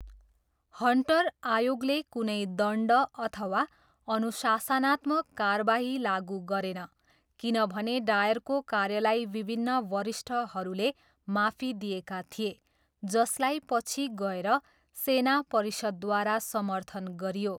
Hunter आयोगले कुनै दण्ड अथवा अनुशासनात्मक कारबाही लागु गरेन किनभने डायरको कार्यलाई विभिन्न वरिष्ठहरूले माफी दिएका थिए जसलाई पछि गएर सेना परिषदद्वारा समर्थन गरियो।